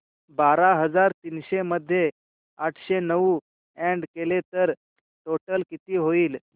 बारा हजार तीनशे मध्ये आठशे नऊ अॅड केले तर टोटल किती होईल